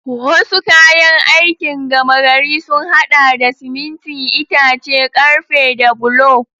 Wasu kayan aikin gama gari sun haɗa da siminti, itace, ƙarfe da bulo.